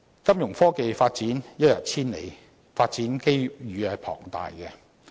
金融科技發展一日千里，發展機遇龐大。